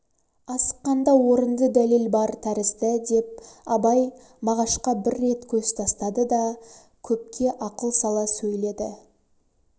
асыққанда орынды дәлел бар тәрізді деп абай мағашқа бір рет көз тастады да көпке ақыл сала сөйледі